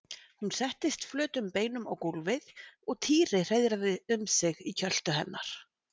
Hún settist flötum beinum á gólfið og Týri hreiðraði um sig í kjöltu hennar.